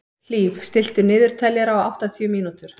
Hlíf, stilltu niðurteljara á áttatíu mínútur.